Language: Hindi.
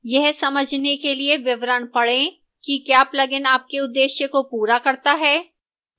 यह समझने के लिए विवरण पढ़ें कि क्या plugin आपके उद्देश्य को पूरा करता है